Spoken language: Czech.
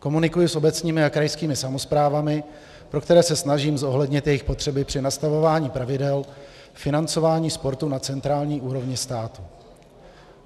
Komunikuji s obecními a krajskými samosprávami, pro které se snažím zohlednit jejich potřeby při nastavování pravidel financování sportu na centrální úrovni státu.